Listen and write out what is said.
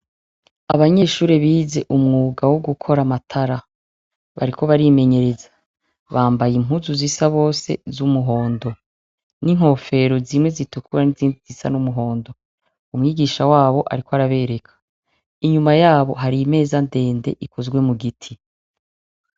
Abanyeshuri bize umwuga wo gukora amatara bariko barimenyereza bambaye impuzu zisa bose z'umuhondo n'inkofero zimwe zitukura n'izindi zisa n'umuhondo umwigisha wabo, ariko arabereka inyuma yabo hari imeza ndende ikozwe mu giti.